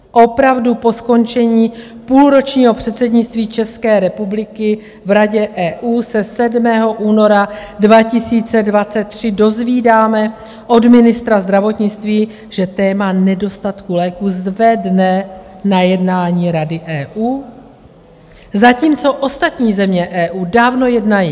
Opravdu, po skončení půlročního předsednictví České republiky v Radě EU se 7. února 2023 dozvídáme od ministra zdravotnictví, že téma nedostatku léků zvedne na jednání Rady EU, zatímco ostatní země EU dávno jednají.